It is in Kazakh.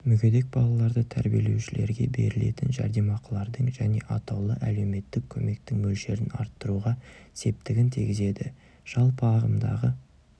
мүгедек балаларды тәрбиелеушілерге берілетін жәрдемақылардың және атаулы әлеуметтік көмектің мөлшерін арттыруға септігін тигізеді жалпы ағымдағы